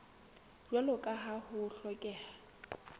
jwalo ka ha ho hlokeha